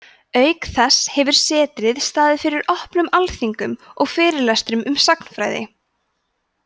auk þessa hefur setrið staðið fyrir opnum málþingum og fyrirlestrum um sagnfræði